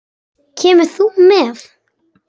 Kemur þú með?